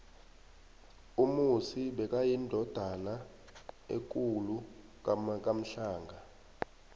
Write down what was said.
umusi bekayindodana ekuku kamhlanga